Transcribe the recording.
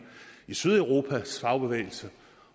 i sydeuropas fagbevægelse